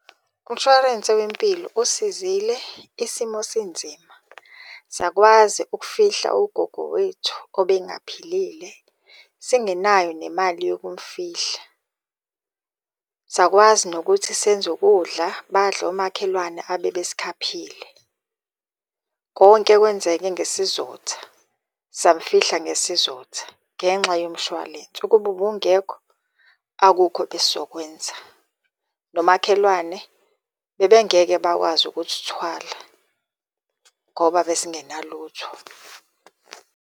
Umshwarense wempilo usizile isimo sinzima. Sakwazi ukufihla ugogo wethu obengaphilile singenayo nemali yokumufihla. Sakwazi nokuthi senze ukudla, badle omakhelwane abebesikhaphile. Konke kwenzeke ngesizotha, samufihla ngesizotha ngenxa yomshwalense, ukuba ubungekho akukho ebesizokwenza. Nomakhelwane bebengeke bakwazi ukusithwala ngoba besingenalutho.